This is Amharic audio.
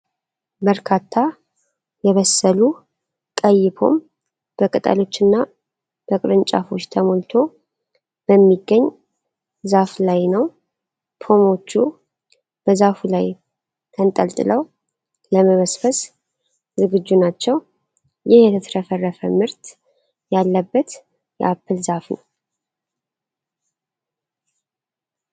በርካታ የበሰሉ ቀይ ፖም በቅጠሎችና በቅርንጫፎች ተሞልቶ በሚገኝ ዛፍ ላይ ነው። ፖምዎቹ በዛፉ ላይ ተንጠልጥለው ለመሰብሰብ ዝግጁ ናቸው። ይህ የተትረፈረፈ ምርት ያለበት የአፕል ዛፍ ነው።